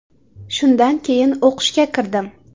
Shundan keyin o‘qishga kirdim.